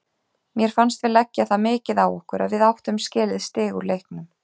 Mér fannst við leggja það mikið á okkur að við áttum skilið stig úr leiknum.